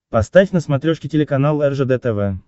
поставь на смотрешке телеканал ржд тв